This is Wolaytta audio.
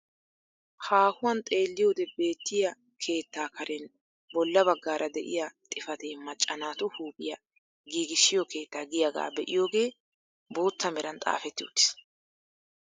Haahuwaan xeelliyoode beettiyaa keettaa karen bolla baggaara de'iyaa xifatee macca naatu huuphphiyaa giigissiyoo keettaa giyaagaa be'iyoogee bootta meran xaafetti uttiis.